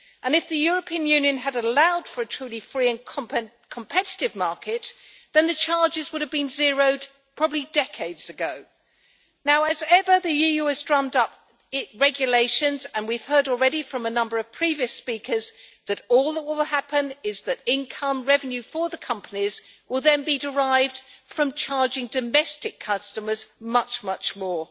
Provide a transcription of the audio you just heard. If the European Union had allowed for a truly free and competitive market then the charges would have been zeroed probably decades ago. As ever, the EU has drummed up regulations, and we have heard already from a number of previous speakers that all will happen is that income revenue for the companies will then be derived from charging domestic customers much, much more.